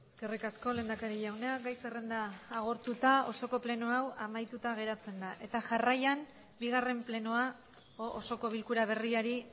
eskerrik asko lehendakari jauna gai zerrenda agortuta osoko plenoa hau amaituta geratzen da eta jarraian bigarren plenoa osoko bilkura berriari